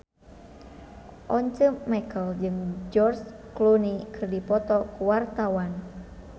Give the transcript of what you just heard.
Once Mekel jeung George Clooney keur dipoto ku wartawan